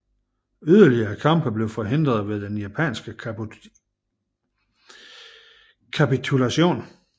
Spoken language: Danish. Yderligere kampe blev forhindret ved den japanske kapitulation